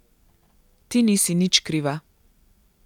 Ti nisi nič kriva.